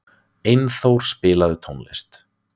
Einþór, spilaðu tónlist.